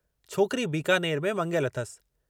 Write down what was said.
छोकिरी बीकानेर में मङियलु अथसि।